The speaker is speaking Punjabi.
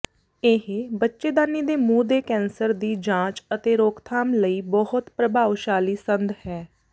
ਇਹ ਬੱਚੇਦਾਨੀ ਦੇ ਮੂੰਹ ਦੇ ਕੈਂਸਰ ਦੀ ਜਾਂਚ ਅਤੇ ਰੋਕਥਾਮ ਲਈ ਬਹੁਤ ਪ੍ਰਭਾਵਸ਼ਾਲੀ ਸੰਦ ਹੈ